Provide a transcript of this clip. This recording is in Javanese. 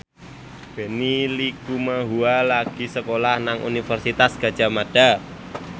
Benny Likumahua lagi sekolah nang Universitas Gadjah Mada